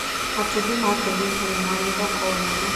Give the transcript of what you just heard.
Matumbĩ ma kienyeji nĩ marĩ thoko nene.